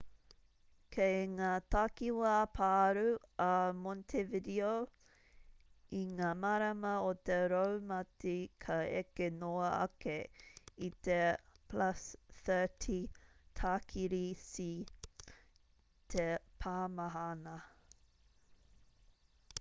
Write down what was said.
kei ngā takiwā pārū a montevideo i ngā marama o te raumati ka eke noa ake i te +30 tākiri c te pāmahana